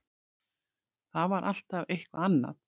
Það var alltaf eitthvað annað.